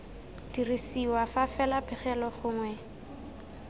dirisiwa fa fela pegelo gongwe